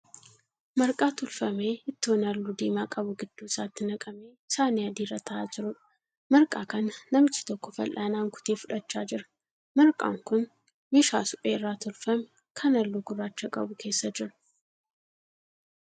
Marqaa tolfamee ittoon halluu diimaa qabu gidduu isaatti naqamee saanii adii irra ta'aa jiruudha. Marqaan kana namichi tokko fal'aanaan kutee fudhachaa jira. Marqaan kun meeshaa suphee irraa tolfame kan halluu gurraacha qabu keessa jira.